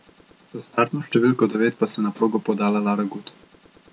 S startno številko devet pa se je na progo podala Lara Gut.